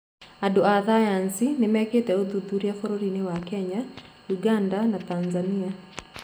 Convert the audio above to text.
Andũ a thayathi nimekĩte uthũthuria bũrũrinĩ wa Kenya, Ũganda na Tathania.